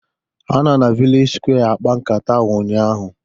Ha nọ na vilej sụkwé akpa nkata ụnyaahụ